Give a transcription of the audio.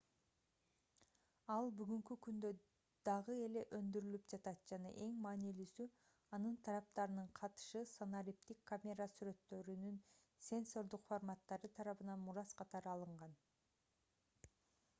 ал бүгүнкү күндө дагы эле өндүрүлүп жатат жана эң маанилүүсү анын тараптарынын катышы санариптик камера сүрөттөрүнүн сенсордук форматтары тарабынан мурас катары алынган